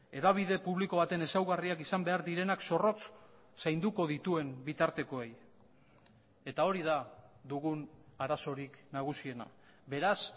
hedabide publiko baten ezaugarriak izan behar direnak zorrotz zainduko dituen bitartekoei eta hori da dugun arazorik nagusiena beraz